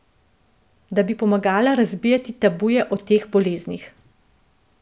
Da bi pomagala razbijati tabuje o teh boleznih.